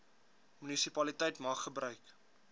munisipaliteit mag gebruik